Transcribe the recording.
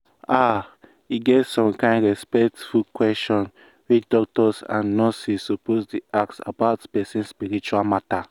ah e get some kind respectful questions wey doctors and nurses suppose dey ask about person spiritual matter.